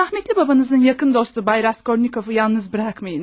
rəhmətli babanızın yaxın dostu Bayraş Kornikov'u yalnız buraxmayınız.